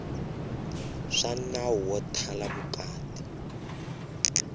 swa nawu wo thala vukati